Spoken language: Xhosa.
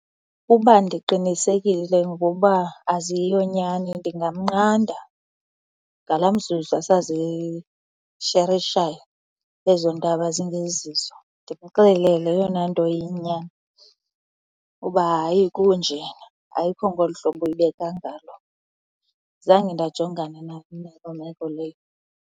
Ukuba ndiqinisekile ngokuba aziyonyani ndingamnqanda ngala mzuzu asazisherishayo ezo ndaba zingezizo ndimxelele eyona nto iyinyani, uba hayi, kunje. Ayikho ngolu hlobo uyibeka ngalo. Zange ndajongana loo meko leyo.